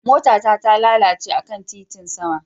Mota ta talalace akan gadar titin sama.